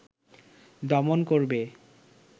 দমন করবে